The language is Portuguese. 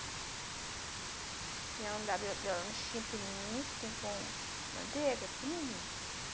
Minha mãe dava meu meu lanchinho pequenininho, assim, com manteiga, pequenininho.